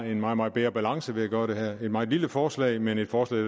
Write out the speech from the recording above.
en meget meget bedre balance ved at gøre det her det et meget lille forslag men et forslag